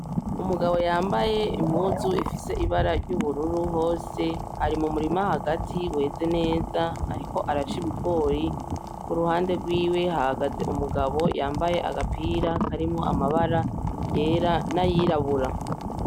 Umugabo yambaye impuzu ifise ibara ry'ubururu hose ari mumurima hagati weze neza, ariko araca ibigori kuruhande rwiwe hahagaze umugabo yambaye agapira karimwo amabara yera n'ayirabura.